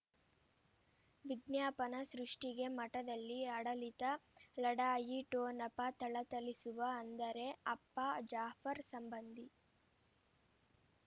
ವಿಜ್ಞಾಪನ ಸೃಷ್ಟಿಗೆ ಮಠದಲ್ಲಿ ಆಡಳಿತ ಲಢಾಯಿ ಠೊಣಪ ಥಳಥಳಿಸುವ ಅಂದರೆ ಅಪ್ಪ ಜಾಫರ್ ಸಂಬಂಧಿ